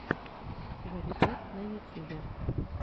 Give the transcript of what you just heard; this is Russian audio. гарри пэт на ютьюбе